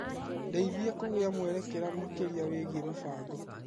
Ndeithia kũgĩa mwerekera makĩria wĩgiĩ mũbango.